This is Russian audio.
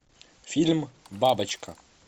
фильм бабочка